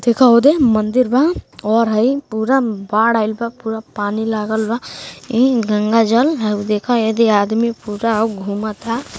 देखा होदे मंदिर बा और हई पूरा बाढ़ आइल बा पूरा पानी लागल बा। ई गंगा जल हउ देखा ऐधे आदमी पूरा हउ घूमत ह।